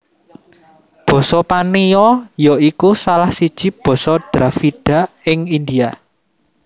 Basa Paniya ya iku salah siji basa Dravida ing India